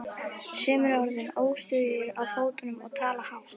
Sumir eru orðnir óstöðugir á fótunum og tala hátt.